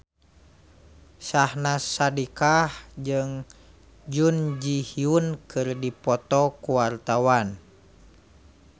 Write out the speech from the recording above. Syahnaz Sadiqah jeung Jun Ji Hyun keur dipoto ku wartawan